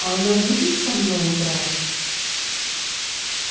а она будет со мной играть